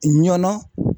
Ɲɔn